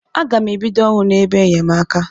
A ga m e bido ọrụ n'ebe enyemaka.